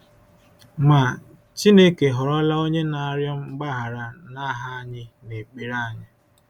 Ma, Chineke họrọla Onye na-arịọ mgbaghara n’aha anyị n’ekpere anyị.